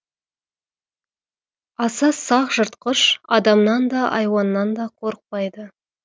аса сақ жыртқыш адамнан да айуаннан да қорықпайды